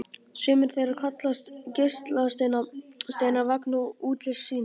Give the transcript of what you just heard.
Sumir þeirra kallast geislasteinar vegna útlits síns.